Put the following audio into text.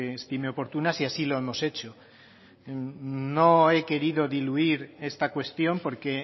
estime oportunas y así lo hemos hecho no he querido diluir esta cuestión porque